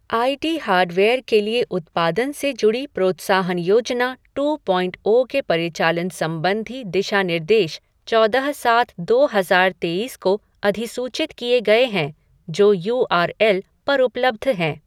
आई T hardware के लिए उत्पादन से जुड़ी प्रोत्साहन योजना टू पॉइंट ओ के परिचालन संबंधी दिशानिर्देश चौदह सात दो हज़ार तेइस को अधिसूचित किए गए हैं, जो यू आर एल पर उपलब्ध हैं।